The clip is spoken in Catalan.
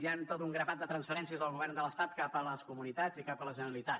hi han tot un grapat de transferències del govern de l’estat cap a les comunitats i cap a la generalitat